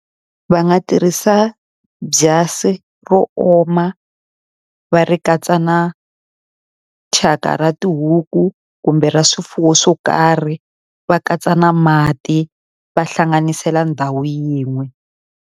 Va nga tirhisa byasi ro oma va ri katsa na thyaka ra tihuku, kumbe ra swifuwo swo karhi, va katsa na mati va hlanganisela ndhawu yin'we.